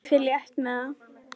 Ég fer létt með það.